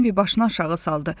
Bembi başını aşağı saldı.